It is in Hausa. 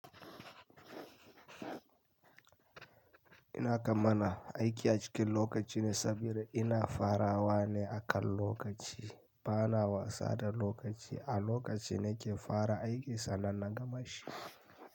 Ina kamala aiki a cikin lokaci ne saboda ina farawa ne akan lokaci, bana wasa da lokaci. A lokaci ne ke fara aiki sannan na gama shi.